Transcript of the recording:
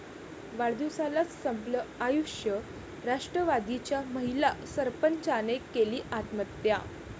वाढदिवसालाच संपलं आयुष्य, राष्ट्रवादीच्या महिला सरपंचाने केली आत्महत्या